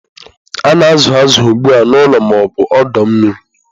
A na-azụ azụ ugbu a n'ụlọ ma ọ bụ ọdọ mmiri.